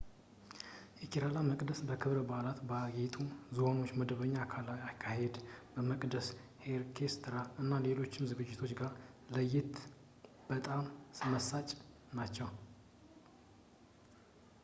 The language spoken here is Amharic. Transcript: የኬራላ መቅደስ ክብረ በዓላት ባጌጡ ዝሆኖች መደበኛ አካሄድ መቅደስ ኦርኬስትራ እና ሌሎች ዝግጅቶች ጋር ለማየት በጣም መሳጭ ናቸው